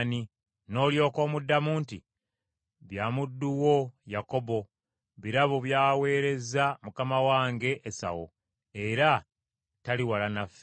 N’olyoka omuddamu nti, ‘Bya muddu wo Yakobo, birabo by’aweerezza mukama wange Esawu, era tali wala naffe.’ ”